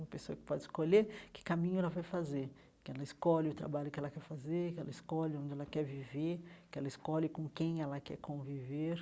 Uma pessoa que pode escolher que caminho ela vai fazer, que ela escolhe o trabalho que ela quer fazer, que ela escolhe onde ela quer viver, que ela escolhe com quem ela quer conviver.